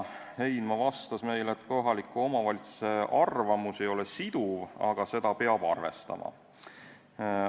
Heinma vastas, et kohaliku omavalitsuse arvamus ei ole siduv, aga seda peab arvestama.